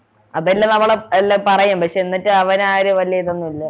അതെല്ലാം നമ്മള് ആഹ് എല്ലാം പറയും പക്ഷെ എന്നിട്ട് അവനു ആ ഒരു വല്യ ഇതൊന്നുമില്ല